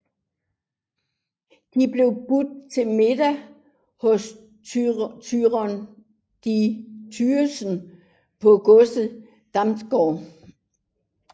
De blev budt til middag hos Thyge de Thygeson på godset Damgård